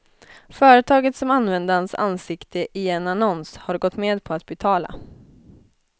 Företaget som använde hans ansikte i en annons har gått med på att betala.